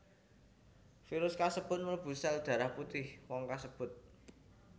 Virus kasebut mlebu sel darah putih wong kasebut